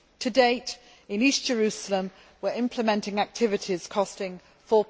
To date, in East Jerusalem, the EU is implementing activities costing EUR